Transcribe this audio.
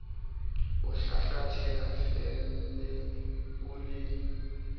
o hlahlathela felleng o le